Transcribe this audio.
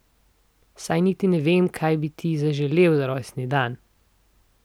Saj niti ne vem, kaj bi ti zaželel za rojstni dan.